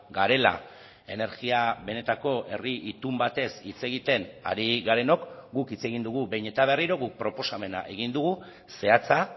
garela energia benetako herri itun batez hitz egiten ari garenok guk hitz egin dugu behin eta berriro guk proposamena egin dugu zehatza